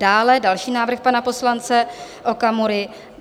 Dále další návrh pana poslance Okamury -